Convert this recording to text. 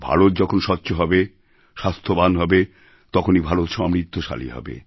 ভারত যখন স্বচ্ছ হবে স্বাস্থ্যবান হবে তখনই ভারত সমৃদ্ধশালী হবে